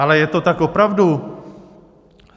Ale je to tak opravdu?